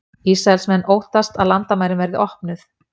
Ísraelsmenn óttast að landamærin verði opnuð